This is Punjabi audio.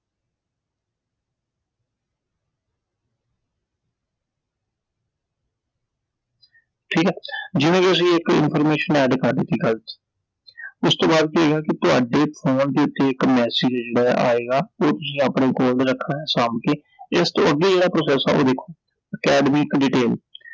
ਜਿਵੇਂ ਕਿ ਅਸੀਂ ਇੱਕ information add ਕਰ ਦਿੱਤੀ ਗ਼ਲਤ ਉਸ ਤੋਂ ਬਾਅਦ ਕੀ ਹੈਗਾ ਕਿ ਤੁਹਾਡੇ ਫੋਨ ਦੇ ਉੱਤੇ ਇੱਕ message ਆ ਜਿਹੜਾ ਆਏਗਾ I ਉਹ ਤੁਸੀਂ ਆਪਣੇ ਕੋਲ ਰੱਖਣਾ ਸਾਂਭਕੇ I ਇਸ ਤੋਂ ਅੱਗੇ ਜਿਹੜਾ process ਆ ਉਹ ਦੇਖੋ, academic detail